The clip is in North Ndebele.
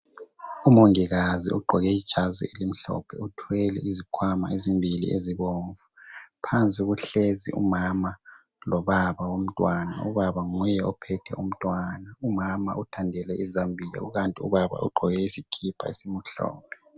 Umongikazi ogqoke ijazi elimhlophe uthwele izikhwama ezimbili ezibomvu phansi kuhlezi umama lobaba womntwana. Ubaba nguye ophethe umntwana, umama uthandele izambiya kukanti ubaba ugqoke isikipa esimhlophe.